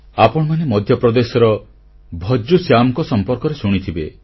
ଆପଣମାନେ ମଧ୍ୟପ୍ରଦେଶର ଭଜ୍ଜୁ ଶ୍ୟାମଙ୍କ ସମ୍ପର୍କରେ ଶୁଣିଥିବେ